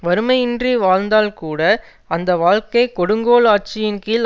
வறுமையின்றி வாழ்ந்தால்கூட அந்த வாழ்க்கை கொடுங்கோல் ஆட்சியின் கீழ்